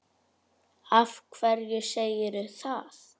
Af hverju segirðu það?